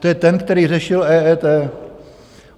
To je ten, který řešil EET.